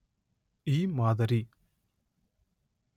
ಈ ಮಾದರಿ